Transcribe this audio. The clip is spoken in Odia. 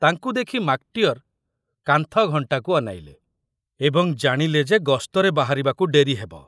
ତାଙ୍କୁ ଦେଖି ମାକଟିଅର କାନ୍ଥ ଘଣ୍ଟାକୁ ଅନାଇଲେ ଏବଂ ଜାଣିଲେ ଯେ ଗସ୍ତରେ ବାହାରିବାକୁ ଡେରି ହେବ।